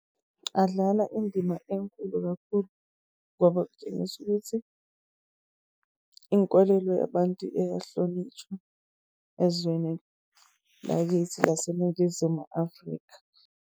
Adlala indima enkulu kakhulu ngoba kutshengisa ukuthi inkolelo yabantu iyahlonitshwa ezweni lakithi laseNingizimu Afrika.